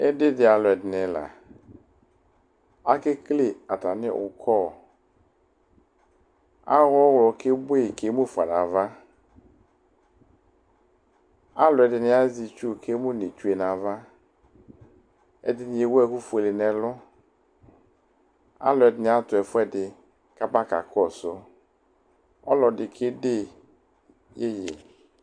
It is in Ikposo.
Ɩdɩ dɩ alʋ ɛdɩnɩ la; akekele atamɩ ʋkɔ, awʋ ɔɣlɔ kebue kemufa navaAlʋ ɛdɩnɩ azɛ itsu kemu n' itsue nava, ɛdɩnɩ ewu ɛkʋ fue n'ɛlʋAlʋ ɛdɩnɩ atʋ ɛfʋɛdɩ kaba kakɔsʋ maƆlɔ dɩ kede yeye